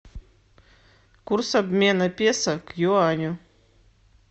курс обмена песо к юаню